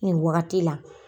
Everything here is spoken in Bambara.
Nin wagati la.